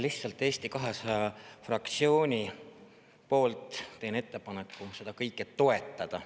Lihtsalt, Eesti 200 fraktsiooni poolt teen ettepaneku seda kõike toetada.